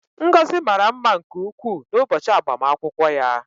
Ngozi mara mma nke ukwuu n'ụbọchị agbamakwụkwọ ya